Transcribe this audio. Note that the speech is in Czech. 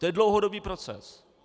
To je dlouhodobý proces.